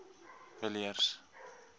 villiers